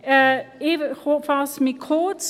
Ich fasse mich kurz: